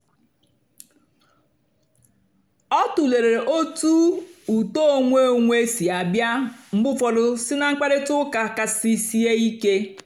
ọ tụ̀lèrè otú ùtó onwé onwé sì àbịa mgbe ụ́fọ́dù sí ná mkpáịrịtà ụ́ka kàsì sìè ìké.